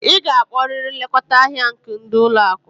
Ị ga-akpọrịrị nlekọta ndị ahịa nke ụlọ akụ!